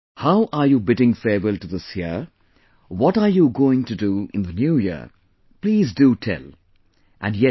How are you bidding farewell to this year, what are you going to do in the new year, please do tell and yes